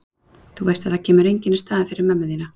Þú veist að það kemur enginn í staðinn fyrir mömmu þína.